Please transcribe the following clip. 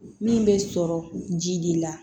Min bɛ sɔrɔ ji de la